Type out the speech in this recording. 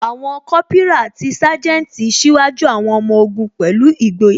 Àwọn Kópírà àti Sanjeti ṣíwájú àwọn ọmọ ogun pẹ̀lú ìgboyà